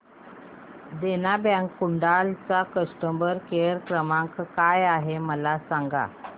देना bank Kudal चा customer care क्रमांक काय आहे मला सांगा